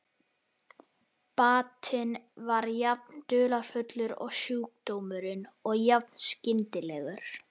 Batinn var jafn dularfullur og sjúkdómurinn og jafn skyndilegur.